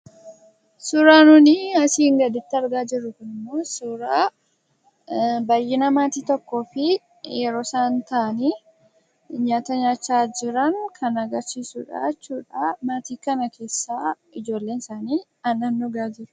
Suuraan gaditti argamu kun immoo suuraa baayyina maatii tokkoo fi yeroo isaan taa'aanii nyaata nyaachaa jiran kan agarsiisuu dha. Maatii kan keessaa ijoolleen isaanii aannan dhugaa jiru jechuu dha.